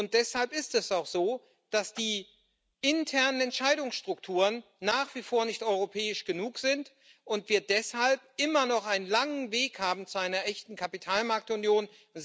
Und deshalb ist es auch so, dass die internen Entscheidungsstrukturen nach wie vor nicht europäisch genug sind und wir deshalb immer noch einen langen Weg haben zu einer echten Kapitalmarktunion.